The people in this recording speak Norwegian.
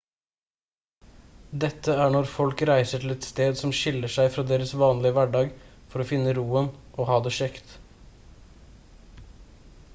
dette er når folk reiser til et sted som skiller seg fra deres vanlige hverdag for å finne roen og ha det kjekt